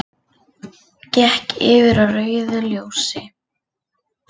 Gekk yfir á rauðu ljósi